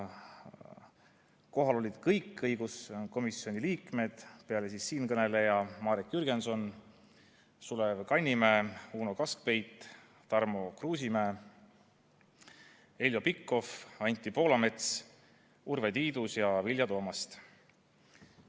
Kohal olid kõik õiguskomisjoni liikmed: peale siinkõneleja ka Marek Jürgenson, Sulev Kannimäe, Uno Kaskpeit, Tarmo Kruusimäe, Heljo Pikhof, Anti Poolamets, Urve Tiidus ja Vilja Toomast.